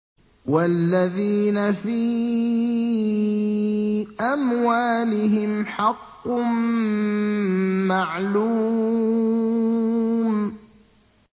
وَالَّذِينَ فِي أَمْوَالِهِمْ حَقٌّ مَّعْلُومٌ